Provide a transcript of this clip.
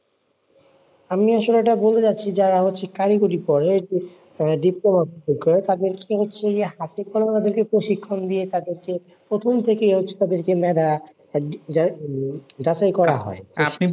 আমি আসলে এটা বলতে চাচ্ছি যে যারা আসলে কারিগরি করে করে তাদেরকে হচ্ছে হাতে করে ওদেরকে প্রশিক্ষণ দিয়ে তাদেরকে প্রথম থেকে যাচাই যাচাই করা হয়,